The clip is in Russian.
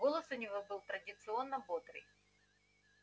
голос у него был традиционно бодрый